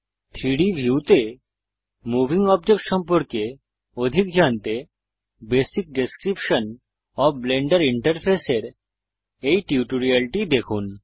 3ডি ভিউতে moving object সম্পর্কে অধিক জানতে basic description of blender interface এর এই টিউটোরিয়ালটি দেখুন